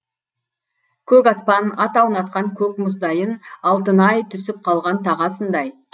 көк аспан ат аунатқан көк мұздайын алтын ай түсіп қалған тағасындай